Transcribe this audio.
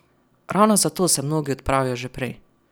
Ravno zato se mnogi odpravijo že prej.